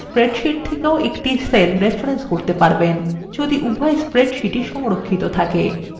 অন্য spreadsheets থেকেও একটি cell রেফরেন্স করতে পারবেন যদি উভই spreadsheets সংরক্ষিত থাকে